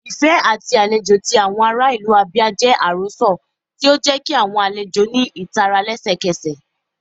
Ifẹ ati alejò ti awọn ara ilu Abia jẹ arosọ, ti o jẹ ki awọn alejo ni itara lẹsẹkẹsẹ.